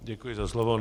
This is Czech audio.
Děkuji za slovo.